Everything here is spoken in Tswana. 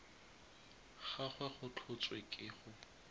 gagwe go tlhotswe ke go